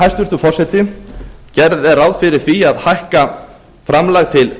hæstvirtur forseti gert er ráð fyrir því að hækka framlag til